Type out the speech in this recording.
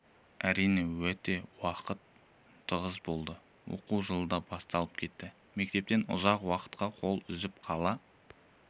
әрине уақыт өте тығыз болды оқу жылы да басталып кетті мектептен ұзақ уақытқа қол үзіп қала